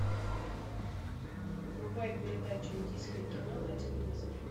врубай передачу индийское кино на телевизоре